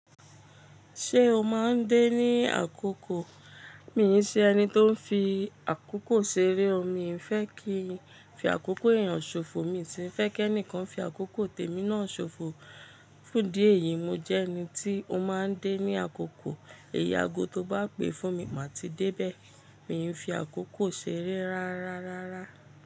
Ṣé o máa ń dé ní àkókò? Mi ò ṣe ẹni tó ń fi àkókò ṣeré o, mi ò fẹ́ kí ń fi àkókò èèyàn ṣòfò, mi sì fẹ́ kí ẹni kan fi àkókò tèmi náà ṣòfò. Fún díẹ̀ yìí, mo jẹ ẹni tí o máa ń dé ní àkókò. Ẹ̀ya ago tó bá pè fún mi, màá ti dé bẹ́ẹ̀. Mi ò ń fi àkókò ṣeré rárárárá.